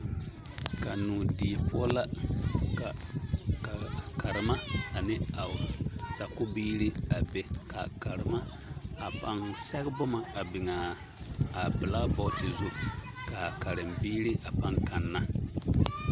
Kannoo die poɔ la ka ka karema ane a o sakubiiri a be kaa karema a paŋ sɛge boma a biŋaa a belaabɔɔti zu kaa karenbiiri a paŋ kanna.